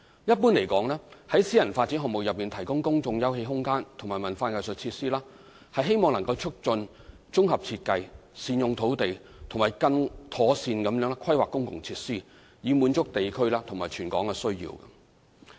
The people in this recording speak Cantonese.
一般而言，在私人發展項目內提供公眾休憩空間及文化藝術設施，是希望能促進綜合設計、善用土地，以及更妥善規劃公共設施，以滿足地區或全港需要。